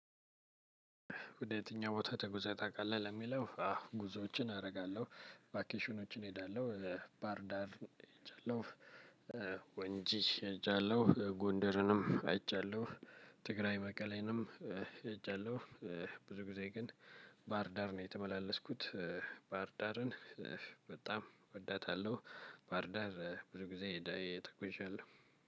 ወደ የትኛው ቦታ ተጉዜ ታቃለህ? ለምለው ያው ጉዞዎችን አረጋለሁ ቫኬሽኖችን እሄዳለሁ ባህርዳር ሄጃለሁ ወንጂ ሄጃለሁ ጎንደርንም ሄጃለሁ ትግራይ መቀሌንም ሄጃለሁ። ብዙ ጊዜ ግን ባህርዳር ነው የተመላለስኩት። ባህርዳርን በጣም እወዳታለሁ። ባህርዳር ብዙ ጊዜ ተጉዣለሁ።